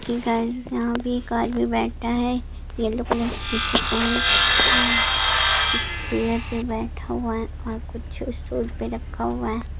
हे guys यहाँ पर एक आदमी बैठा है येलो कलर की टी-शर्ट पहनके और एक चेयर पर बैठा हुआ है और कुछ स्टूल पे रखा हुआ है।